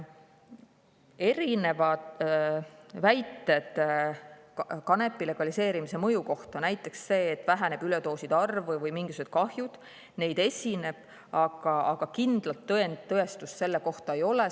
On erinevaid väiteid kanepi legaliseerimise mõju kohta, aga see, et väheneb üledooside arv või mingisugune muu kahju, kindlalt tõestust leidnud ei ole.